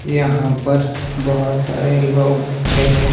यहां पर बहुत सारे लोग दिख रहे है।